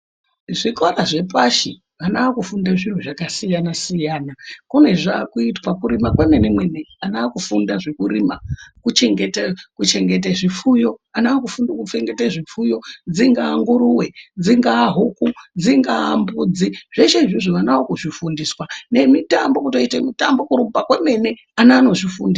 Zvikora zvepashi vana vakufunda zviro zvakasiyana-siyana, kune zvaakuitwa kurima kwemene -mene ana aakufunda zvekurima kuchengete zvifuyo ana akufunda dzingaa nguruwe, dzingaa huku, dzingaa mbudzi zveshe izvozvo ana akuzvifundiswa nemitambo kurumba kwemene ana anozvifundiswa.